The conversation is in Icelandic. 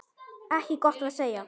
Ekki gott að segja.